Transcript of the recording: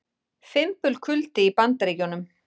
Fimbulkuldi í Bandaríkjunum